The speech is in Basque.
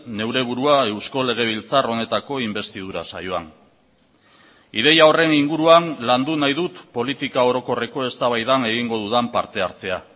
neure burua eusko legebiltzar honetako inbestidura saioan ideia horren inguruan landu nahi dut politika orokorreko eztabaidan egingo dudan partehartzea